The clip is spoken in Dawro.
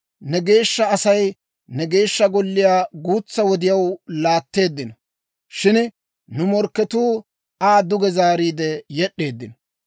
Ne geeshsha Asay ne Geeshsha Golliyaa guutsaa wodiyaw laatteeddino; shin nu morkketuu Aa duge zaariide yed'd'eeddino.